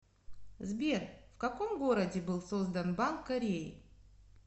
сбер в каком городе был создан банк кореи